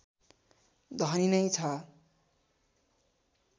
धनी नै छ